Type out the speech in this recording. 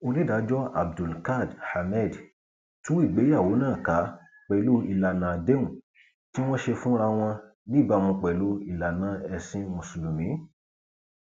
onídàájọ abdulkád ahmed tú ìgbéyàwó náà ká pẹlú ìlànà àdéhùn tí wọn ṣe fúnra wọn níbàámu pẹlú ìlànà ẹsìn mùsùlùmí